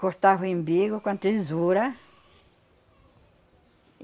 Cortava o imbigo com a tesoura.